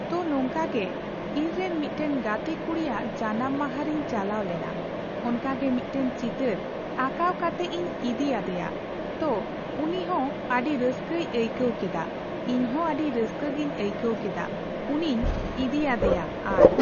ᱛᱚ ᱱᱚᱝᱠᱟ ᱜᱮ ᱤᱧᱨᱮᱱ ᱢᱤᱫᱴᱮᱱ ᱜᱟᱛᱮ ᱠᱩᱲᱤᱭᱟᱜ ᱡᱟᱱᱟᱢ ᱢᱟᱦᱟ ᱨᱮᱧ ᱪᱟᱞᱟᱣ ᱞᱮᱱᱟ, ᱚᱱᱠᱟᱜᱮ ᱢᱤᱫᱴᱮᱱ ᱪᱤᱛᱟᱹᱨ ᱟᱸᱠᱟᱣ ᱠᱟᱛᱮᱜ ᱤᱧ ᱤᱫᱤ ᱟᱫᱮᱭᱟ ᱛᱚ ᱩᱱᱤᱦᱚᱸ ᱟᱹᱰᱤ ᱨᱟᱹᱥᱠᱟᱹᱭ ᱟᱹᱭᱠᱟᱹᱣ ᱠᱮᱫᱟ, ᱤᱧᱦᱚ ᱟᱹᱰᱤ ᱨᱟᱹᱥᱠᱟᱹ ᱜᱤᱧ ᱟᱹᱭᱠᱟᱹᱣ ᱠᱮᱫᱟ ᱩᱱᱤᱧ ᱤᱫᱤ ᱟᱫᱮᱭᱟ ᱟᱨ ᱾